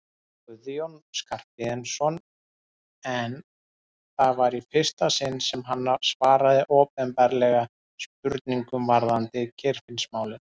Guðjón Skarphéðinsson en það var í fyrsta sinn sem hann svaraði opinberlega spurningum varðandi Geirfinnsmálið.